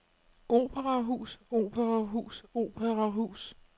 operahus operahus operahus